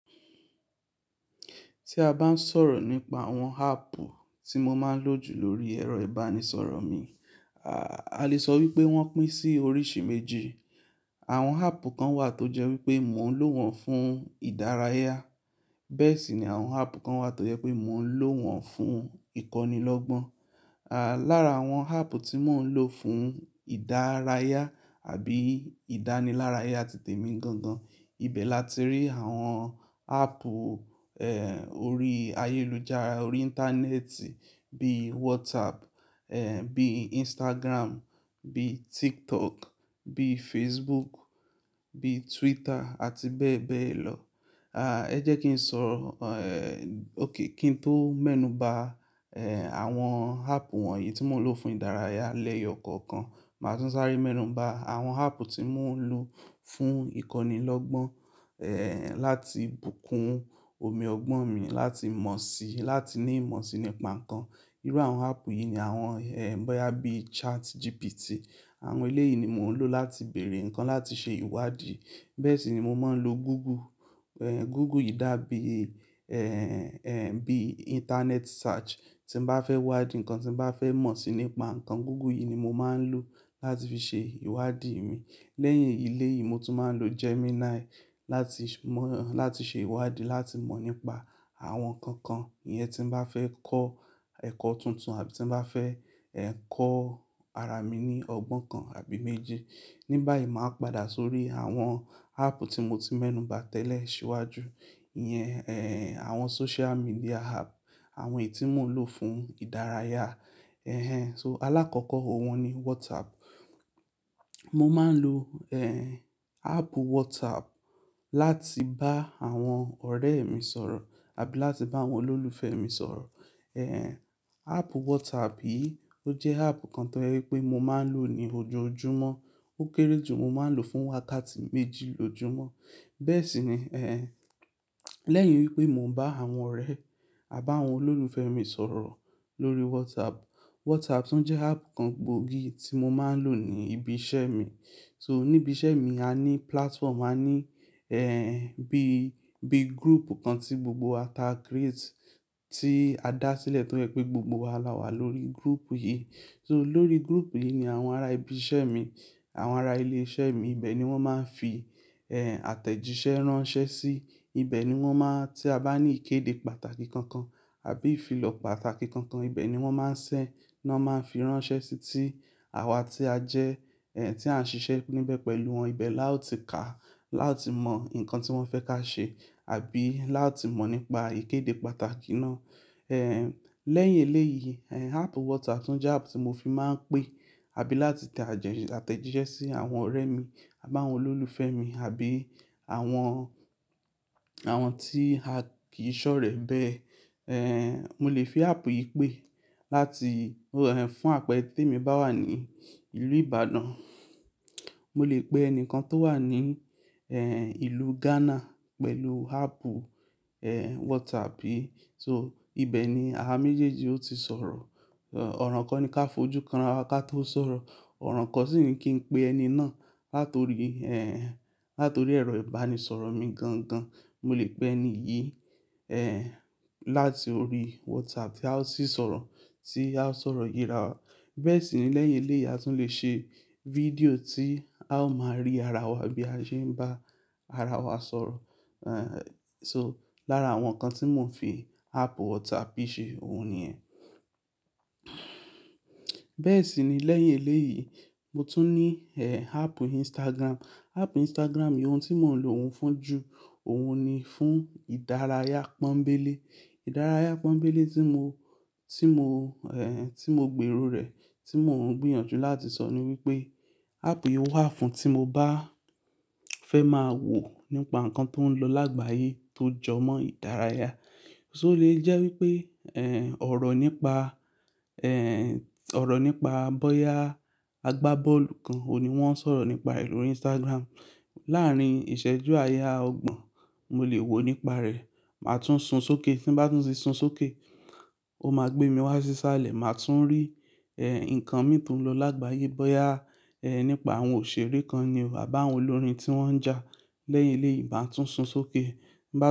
Tí a bá ń sọ̀rọ̀ nípa àwọn áàpù tí mo máa ń lò jù lórí ẹ̀rọ ìbánisọ̀rọ̀ mi, a lè sọ wípé wọ́n pín sí oríṣi méjì. Àwọn áàpù kan wà tó jẹ́ wípé mo ń lò wọ́n fún ìdárayá, bẹ́ẹ̀ sì ni àwọn áàpù kan wà tó jẹ́ pé mo ń lò wọ́n fún ìkọ́nilọ́gbọ́n. À lára àwọn áàpù tí mo ń lò fún ìdárayá àbí ìdánilárayá titẹ̀ mi gangan, ibẹ̀ la ti rí àwọn áàpù, ẹ́, orí ayélujára, orí Íńtánẹ́ẹ̀tì bí WhatsApp, ẹ́, bí Instagram, bí TikTok, bí Facebook, bí Twitter àti bẹ́ẹ̀ bẹ́ẹ̀ lọ. À, ẹ jẹ́ kí n sọ, ẹ́, okay kí n tó mẹ́nu bà, ẹ́, àwọn áàpù wọ̀nyí tí mo ń lò fún ìdárayá lẹ́yọ̀ kọ̀ọ̀kan. Màá tún sáré mẹ́nu bà àwọn áàpù tí mo ń lò fún ìkọ́nilọ́gbọ́n, ẹ́, láti bùkún omi ọgbọ́n mi, láti mọ̀ sí i, láti ní ìmọ̀ sí i nípa nǹkan. Irú àwọn áàpù yìí ni àwọn, ẹ́, bóyá bí ChatGPT. Àwọn eléyìí ni mò ń lò láti bèèrè ǹkan láti ṣe ìwádìí. Bẹ́ẹ̀ sì ni mo máa ń lo Google. Ẹ́, Google yìí dá bí, ẹ́, ẹ́, bí Íńtánẹ́ẹ̀tì search. Tí m bá fẹ́ wádìí ǹkan, tí m bá fẹ́ mọ̀ síi nípa nǹkan, Google yìí ni mo máa ń lò láti fi ṣe ìwádìí mi. Lẹ́yìn eléyìí mo tún máa ń lo Gemini láti mọ̀, láti ṣe ìwádìí, láti mọ̀ nípa àwọn nǹkan kan. Iyẹn tí m bá fẹ́ kọ́ ẹ̀kọ́ tuntun àbí tí m bá fẹ́, ẹ́, kọ́ ara mi ní ọgbọ́n kan àbí méjì. Ní báyìí màá padà sórí àwọn áàpù tí mo ti mẹ́nu bà tẹ́lẹ̀ síwájú. Iyẹn, ẹ́, àwọn social media app, àwọn èyí tí mò ń lò fún ìdárayá. Ehen. So alákọ̀ọ́kọ́ òun ni WhatsApp. Mo máa ń lò, ẹ́, áàpù WhatsApp láti bá àwọn ọ̀rẹ́ mi sọ̀rọ̀ àbí láti bá àwọn olólùfẹ́ mi sọ̀rọ̀. Ẹ̀hẹn, áàpù WhatsApp yìí ó jẹ́ áàpù kan tó jẹ́ wípé mo máa ń lò ní ojoojúmọ́. Ó kéré jù mo máa ń lò fún wákàtí méjì lójúmọ́. Bẹ́ẹ̀ sì ni, ẹ́, lẹ́yìn wípé mò ń bá àwọn ọ̀rẹ́ à bá àwọn olólùfẹ́ mi sọ̀rọ̀ lórí WhatsApp, WhatsApp tún jẹ́ áàpù kan gbòógì tí mo máa ń lò ní ibi iṣẹ́ mi. So níbi iṣẹ́ mi a ní platform, a ní, ẹ́, bí, bí group kan tí gbogbo wa ta create, tí a dá sílẹ̀ tó jẹ́ pé gbogbo wa la wà lórí group yìí. So lórí group yìí ni àwọn ará ibi iṣẹ́ mi, àwọn ará ilé iṣẹ́ mi ibẹ̀ ni wọ́n máa ń fi, ẹ́, àtẹ̀jíṣẹ́ ránṣẹ́ sí. Ibẹ̀ ni wọ́n máa-- tí a bá ní ìkéde pàtàkì kankan àbí ìfilọ̀ pàtàkì kankan, ibẹ̀ ni wọ́n máa ń ṣẹ́ náà máa ń fi ránṣẹ́ sí tí àwa tí a jẹ́, ẹ́, tí à ń ṣiṣẹ́ níbẹ̀ pẹ̀lú wọn. Ibẹ̀ lá o ti kà á, lá o ti mọ̀ ǹkan tí wọ́n fẹ́ ká ṣe àbí lá ti mọ̀ nípa ìkéde pàtàkì náà. Ẹ̀hẹn, lẹ́yìn eléyìí, ẹ́, áàpù WhatsApp tún jẹ́ áàpù tí mo fi máa ń pè àbí láti tẹ àtẹ̀jíṣẹ́ sí àwọn ọ̀rẹ́ mi à báwọn olólùfẹ́ mi àbí àwọn, àwọn tí a kì í ṣọ̀rẹ́ bẹ́ẹ̀. Ẹ̀hẹn, mo lè fi áàpù yìí pè láti, ẹ́, fún àpẹẹrẹ tèmi bá wà ní ìlú Ìbàdàn, mo lè pe ẹni kan tó wà ní, ẹ́, ìlú Ghana pẹ̀lù áàpù, ẹ́, WhatsApp yìí. So ibẹ̀ ni àwa méjèèjì ó ti sọ̀rọ̀. Ọ̀ràn kan ni ká fojú kan ara wa ká tó sọ̀rọ̀, ọ̀ràn kan sì ni kí n pe ẹni náà. Látorí, ẹ́, látorí ẹ̀rọ ìbánisọ̀rọ̀ mi gan gan, mo lè pe ẹni yìí, ẹ́, láti orí WhatsApp, ti a ó sì sọ̀rọ̀, tí a ó sọ̀rọ̀ yíra wa. Bẹ́ẹ̀ sì ni lẹ́yìn eléyìí a tún lè ṣe fídíò tí a ó máa rí ara wa bí a ṣe ń bá ara wa sọ̀rọ̀. Ẹ̀hẹn, so lára àwọn nǹkan tí mò ń fi áàpù WhatsApp yìí ṣe òun ni yẹ́n. Bẹ́ẹ̀ sì ni lẹ́yìn eléyìí mo tún ní, ẹ́, áàpù Instagram. Áàpù Instagram yìí ohun tí mò ń lò ó fún ju òun ni fún ìdárayá pọ́nbélé. Ìdárayá pọ́nbélé tí mo, tí mo, ẹ́, tí mo gbéro rẹ̀, tí mò ń gbìyànjú láti sọ ni wípé áàpù yìí wà fún tí mo bá fẹ́ máa wò nípa nǹkan tó ń lọ lágbàyé tó jọmọ́ ìdárayá. So lè jẹ́ wípé, ẹ́, ọ̀rọ̀ nípa, ẹ́, ọ̀rọ̀ nípa bóyá agbábọ́ọ̀lù kan òní wọ́n ń sọ̀rọ̀ nípa rẹ̀ lórí Instagram. Láàárín ìṣẹ́jú àáya ọgbọ̀n mo lè wò ó nípa rẹ̀, màá tún sun sókè. Tí n bá tún ti sun sókè, ó máa gbé mi wá sí sáà lẹ̀ màá tún rí, ẹ́, ǹkan mìí tó ń lọ lágbàyé bóyá, ẹ́, nípa àwọn òṣèré kan ni o à báwọn olórin tí wọ́n ń jà. Lẹ́yìn eléyìí màá tún sun sókè, bá tún.